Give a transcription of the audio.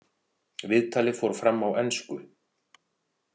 Viðtalið fór fram á ensku.